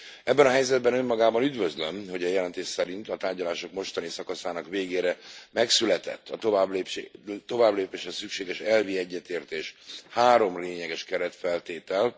Ebben a helyzetben önmagában üdvözlöm, hogy a jelentés szerint a tárgyalások mostani szakaszának végére megszületett a továbblépéshez szükséges elvi egyetértés, három lényeges keretfeltétel.